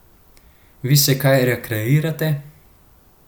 Vi se kaj rekreirate?